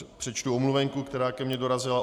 Přečtu omluvenku, která ke mně dorazila.